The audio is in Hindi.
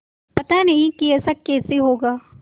पता नहीं कि ऐसा कैसे होगा